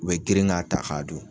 U bɛ girin k'a ta k'a dun.